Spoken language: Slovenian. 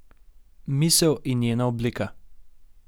Misel in njena oblika.